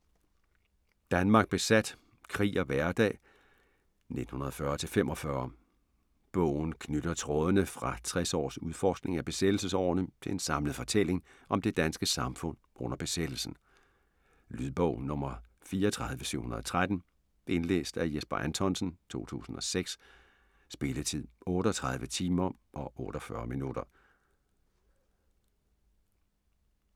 Danmark besat: krig og hverdag 1940-45 Bogen knytter trådene fra 60 års udforskning af besættelsesårene til en samlet fortælling om det danske samfund under besættelsen. Lydbog 34713 Indlæst af Jesper Anthonsen, 2006. Spilletid: 38 timer, 48 minutter.